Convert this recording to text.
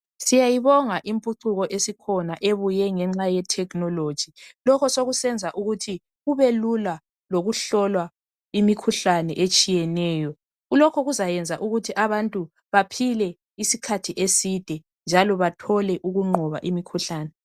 Siyayibonga impucuko esikhona ebuye ngenxa yetechnology lokho sokusenza ukuthi kubelula lokuhlolwa imikhuhlane etshiyeneyo lokho kuzayenza ukuthi abantu baphile isikhathi eside njalo bathole ukunqoba imikhuhlane.